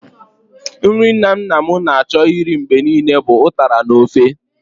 Nri nna nna m na-achọ irí mgbe niile bụ ụtara n'ofe.